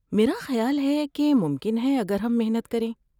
میرا خیال ہے کہ ممکن ہے اگر ہم محنت کریں۔